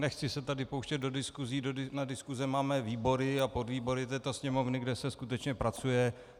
Nechci se tady pouštět do diskusí, na diskuse máme výbory a podvýbory této Sněmovny, kde se skutečně pracuje.